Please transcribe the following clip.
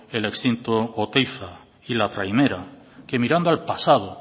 el extinto oteiza y la trainera que mirando hacia el pasado